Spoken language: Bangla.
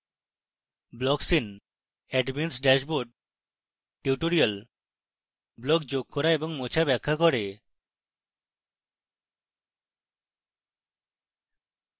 blocks in admin s dashboard tutorial blocks যোগ এবং মোছা ব্যাখ্যা করে